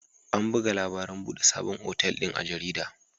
An buga labarin buɗe sabon otal din a jarida.